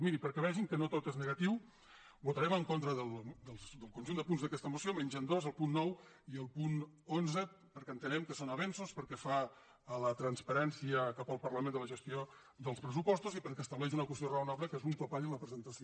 miri perquè vegin que no tot és negatiu votarem en contra del conjunt de punts d’aquesta moció menys en dos el punt nou i el punt onze perquè entenem que són avenços pel que fa a la transparència cap al parlament de la gestió dels pressupostos i perquè estableixen una qüestió raonable que és un topall en la presentació